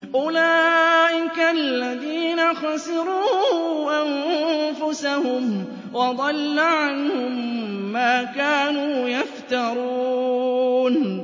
أُولَٰئِكَ الَّذِينَ خَسِرُوا أَنفُسَهُمْ وَضَلَّ عَنْهُم مَّا كَانُوا يَفْتَرُونَ